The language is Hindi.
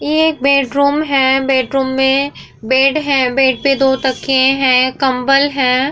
ये एक बैडरूम है। बैडरूम में बेड है बेड पे दो तकिये है कम्बल है।